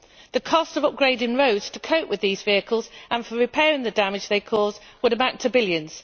The cost of upgrading roads to cope with these vehicles and for repairing the damage they cause would amount to billions.